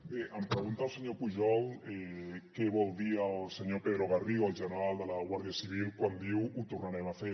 bé em pregunta el senyor pujol què vol dir el senyor pedro garrido el general de la guàrdia civil quan diu ho tornarem a fer